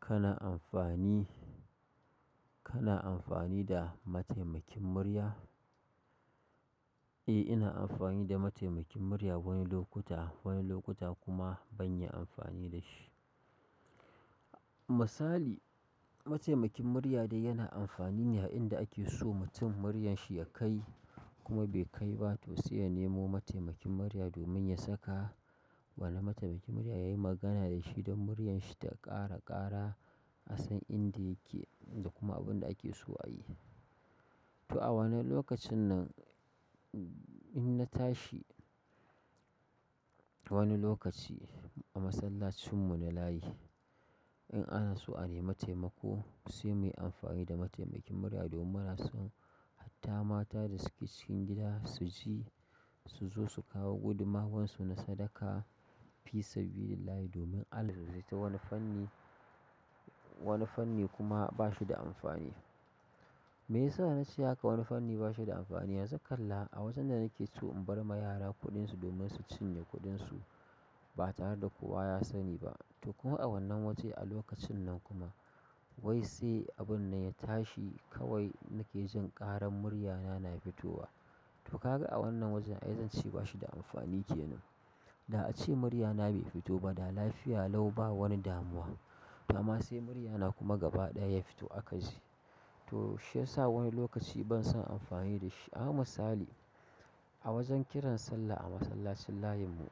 Kana amfani, kana amfani da mataimakin murya? Eh, ina amfani da mataimakin murya wani lokuta, wani lokuta kuma ban yi amfani da shi. Misali, mataimakin murya dai yana amfani ne a inda ake so mutum muryarshi ya kai kuma bai kai ba, to sai ya nemo mataimakin murya domin ya saka. Wannan mataimakin murya yayi magana da shi don muryarshi ta ƙara ƙara, a san inda yake da kuma abunda ake so a yi. To a wannan lokacin nan, in na tashi wani lokaci a masallacin mu na layi, in ana so a nemi taimako sai muyi amfani da mataimakin murya domin muna son, hatta mata da suke cikin gida su ji, su zo su kawo gudummawarsu na sadaka, fisabililllallahi domin Allah dai dai to wani fanni, wani fanni kuma ba shi da amfani. Me yasa nace haka. Wani fanni ba shi da amfani? Yanzu kalla a wajen da nake so in bar ma yara kuɗin su domin su cinye kuɗin su ba tare da kowa ya sani ba. To kuma a wannan waje a lokacin nan kuma, wai sai abun nan ya tashi kawai nake jin ƙaran muryana na fitowa. Toh kaga a wannan wajen ai dan ce bashi da amfani kenan. Da ace muryana bai fito ba da lafiya lau ba wani damuwa. Amma sai muryana kuma gaba ɗaya ya fito aka ji. Toh shiyasa wani lokaci ban son amfani da shi, amma misali; a wajen kiran sallah a masallacin layin mu,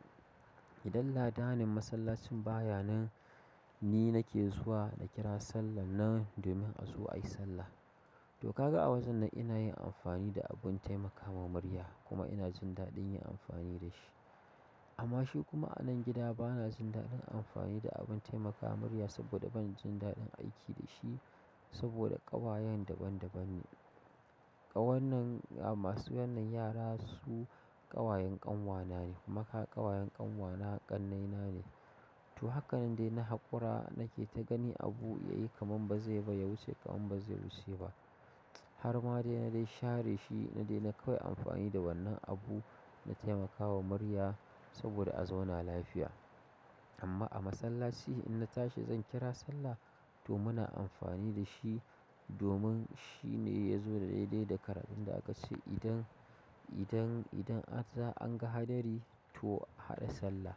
idan ladanin masllacin baya nan, ni nake zuwa na kira sallah nan domin a zo ayi sallah. To kaga a wajen nan ina yin amfani da abin taimakawa murya kuma ina jin daɗin yin amfani da shi. Amma shi kuma a nan gida bana jin daɗin amfani da abin taimakawa murya saboda ban jin daɗin aiki da shi saboda ƙawayen daban daban ne. Kawannan masu wannan yara su ƙawayen ƙanwa na ne kuma kaga ƙawayen ƙanwa na ƙannai na ne. To hakanan dai na haƙura nake ta gani abu yayi kaman bazai ba ya wuce kaman bazai wuce ba. Har ma dai na dai share shi na dai na kawai amfani da wannan abu na taimakawa murya saboda a zauna lafiya. Amma a masallaci in na tashi zan kira sallah, to muna amfani da shi domin shi ne ya zo da daidai da karafin da aka ce idan, idan, idan an ga hadari to a haɗa sallah.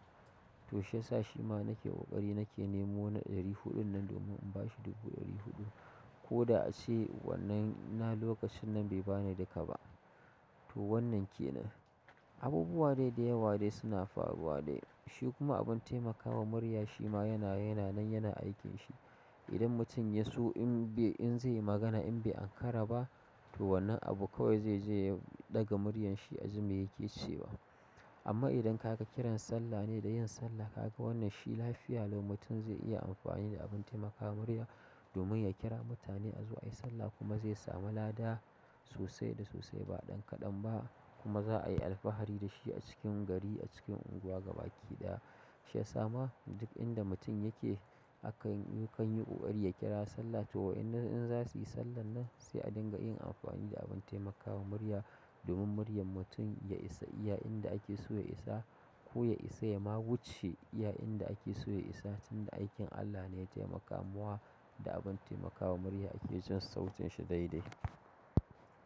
Toh shiyasa shima nake ƙoƙari na ke nemo na ɗari huɗun nan domin in ba shi dubu ɗari huɗu, ko da ace wannan na lokacin nan be ba ni duka ba. To wannan kenan. Abubuwa dai da yawa dai suna faruwa dai. Shi kuma abin taimakawa murya shi ma yana, yana nan yana aikin shi. Idan mutum ya so in bai, in zai yi magana in bai ankara ba, to wannan abu kawai zai, je ya ɗaga muryarshi a ji mai yake cewa. Amma idan ka ga kiran sallah ne da yin sallah, ka ga wannan shi lafiya lau mutum zai iya amfani da abin taimakawa murya domin ya kira mutane a zo ayi sallah kuma zai samu lada sosai da sosai ba ɗan kaɗan ba kuma za a yi alfahari da shi a cikin gari a cikin unguwa gabaki ɗaya. Shiyasa ma duk inda mutum yake akan, ya kan yi ƙoƙari ya kira sallah to in za su yi sallah nan sai a dinga yin amfani da abin taimakawa murya domin muryar mutum ya isa iya inda ake so ya isa. Ko ya isa ya ma wuce iya inda ake so ya isa tun da aikin Allah ne ya taimaka muwa da abin taimakawa murya ake jin sautin shi daidai.